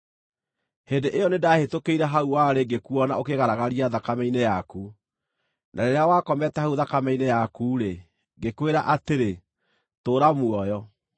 “ ‘Hĩndĩ ĩyo nĩndahĩtũkĩire hau warĩ ngĩkuona ũkĩĩgaragaria thakame-inĩ yaku, na rĩrĩa wakomete hau thakame-inĩ yaku-rĩ, ngĩkwĩra atĩrĩ, “Tũũra muoyo!”